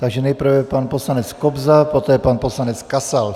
Takže nejprve pan poslanec Kobza, poté pan poslanec Kasal.